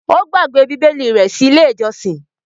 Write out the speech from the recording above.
Ó gbàgbé Bíbélì rẹ̀ sí Ilé-ìjọsìn.